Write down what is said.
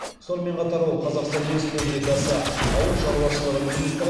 сонымен қатар ол қазақстан республикасы ауыл шаруашылығы министрі